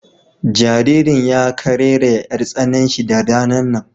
Jaririn ya kararayya 'yar tsananshi da ranan nan.